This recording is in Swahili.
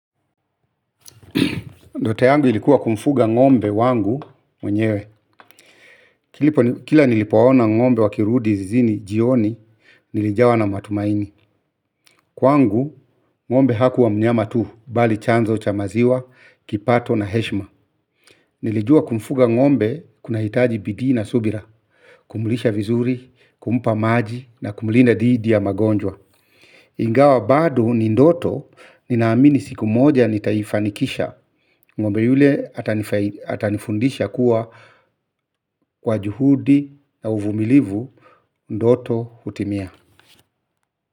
Ndoto yangu ilikuwa kumfuga ng'ombe wangu mwenyewe. Kila nilipowaona ng'ombe wakirudi zizini jioni, nilijawa na matumaini. Kwangu ng'ombe hakuwa mnyama tu, bali chanzo cha maziwa, kipato na heshima. Nilijua kumfuga ng'ombe, kunahitaji bidii na subira. Kumlisha vizuri, kumpa maji na kumlinda dhidi ya magonjwa. Ingawa bado ni ndoto ninaamini siku moja nitaifanikisha. Ng'ombe yule atanifundisha kuwa, kwa juhudi na uvumilivu ndoto hutimia.